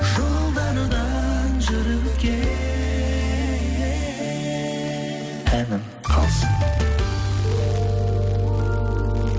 жолдардан жүріп өткен әнім қалсын